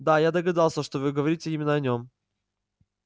да я догадался что вы говорите именно о нем